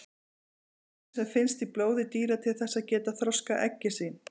Þær þurfa prótín sem finnst í blóði dýra til þess að geta þroskað eggin sín.